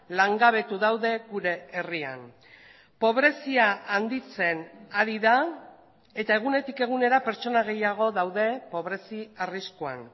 langabetu daude gure herrian pobrezia handitzen ari da eta egunetik egunera pertsona gehiago daude pobrezi arriskuan